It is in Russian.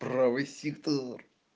правый сектор